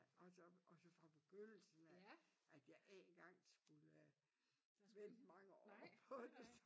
Og så og så fra begyndelsen af at jeg ikke engang skulle vente mange år på det